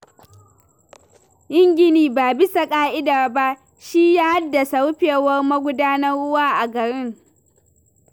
Yin gini ba bisa ƙa'ida ba, shi ya haddasa rufewar magudanan ruwa a garin.